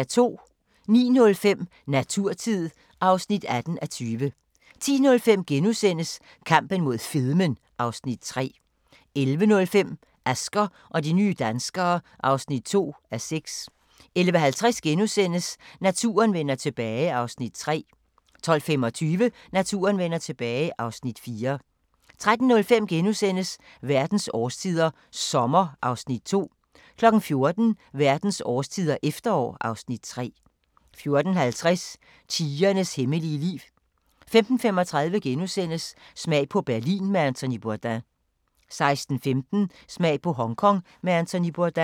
09:05: Naturtid (18:20) 10:05: Kampen mod fedmen (Afs. 3)* 11:05: Asger og de nye danskere (2:6) 11:50: Naturen vender tilbage (Afs. 3)* 12:25: Naturen vender tilbage (Afs. 4) 13:05: Verdens årstider – sommer (Afs. 2)* 14:00: Verdens årstider – efterår (Afs. 3) 14:50: Tigerens hemmelige liv 15:35: Smag på Berlin med Anthony Bourdain * 16:15: Smag på Hongkong med Anthony Bourdain